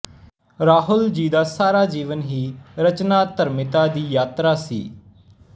ਰਾਹੁਲ ਜੀ ਦਾ ਸਾਰਾ ਜੀਵਨ ਹੀ ਰਚਨਾਧਰਮਿਤਾ ਦੀ ਯਾਤਰਾ ਸੀ